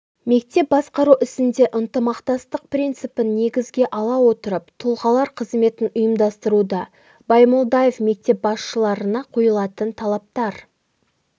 мектеп басқару ісінде ынтымақтастық принципін негізге ала отырып тұлғалар қызметін ұйымдастыруда баймолдаев мектеп басшыларына қойылатын талаптар